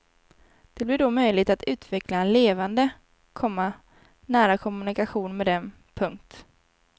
Det blir då möjligt att utveckla en levande, komma nära kommunikation med dem. punkt